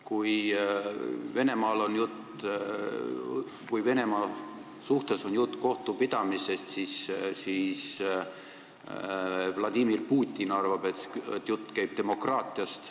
Kui jutt on kohtupidamisest Venemaal, siis Vladimir Putin arvab, et jutt käib demokraatiast.